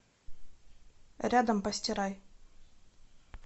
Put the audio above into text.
рядом постирай